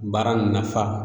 Baara n nafa